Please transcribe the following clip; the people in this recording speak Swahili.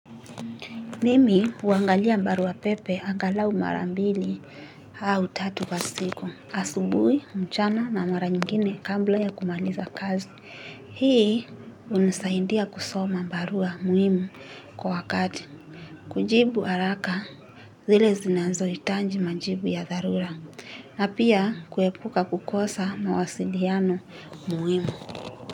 Mimi huangalia barua pepe angalau mara mbili au tatu kwa siku. Asubui, mchana na mara nyingine kabla ya kumaliza kazi. Hii hunisaidia kusoma barua muhimu kwa wakati kujibu haraka zile zinazohitaji majibu ya dharura. Na pia kuepuka kukosa mawasiliano muhimu.